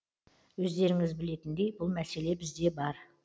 өздеріңіз білетіндей бұл мәселе бізде бар